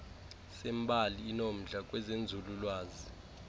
sembali inomdla kwezenzululwazi